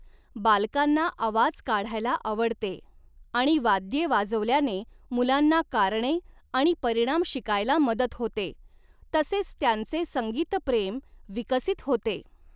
बालकांना आवाज काढायला आवडते आणि वाद्ये वाजवल्याने मुलांना कारणे आणि परिणाम शिकायला मदत होते तसेच त्यांचे संगीतप्रेम विकसित होते.